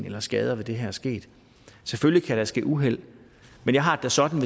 eller skader ved det her er sket selvfølgelig kan der ske uheld men jeg har det sådan